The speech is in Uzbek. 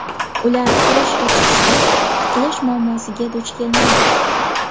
Ular kirish va chiqishda tiqilish muammosiga duch kelmaydi.